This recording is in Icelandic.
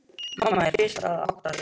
Mamma er fyrst að átta sig: